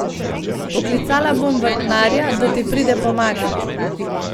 Poklicala bom vrtnarja, da ti pride pomagat.